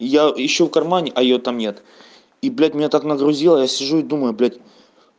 я ищу в кармане а её там нет и блять меня так нагрузил я сижу и думаю блять